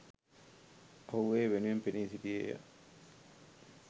ඔහු එය වෙනුවෙන් පෙනී සිටියේය